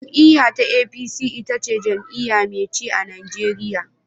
Jam'iyyar APC ita ce jam'iyya mai ci a Najeriya.